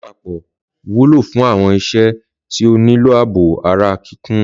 Lápapọ̀ wúlò fún àwọn iṣẹ́ tí ó nílò ààbò ara kíkún.